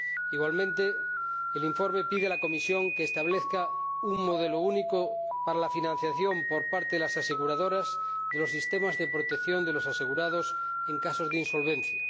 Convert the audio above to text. Igualmente, el informe pide a la Comisión que establezca un modelo único para la financiación por parte de las aseguradoras de los sistemas de protección de los asegurados en casos de insolvencia.